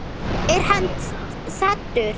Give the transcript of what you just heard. Er hann saddur?